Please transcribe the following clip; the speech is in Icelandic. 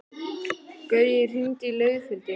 Gaui, hringdu í Laufhildi.